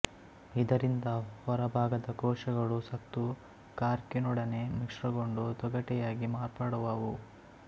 ಇದರಿಂದ ಹೊರಭಾಗದ ಕೋಶಗಳು ಸತ್ತು ಕಾರ್ಕಿನೊಡನೆ ಮಿಶ್ರಗೊಂಡು ತೊಗಟೆಯಾಗಿ ಮಾರ್ಪಡುವುವು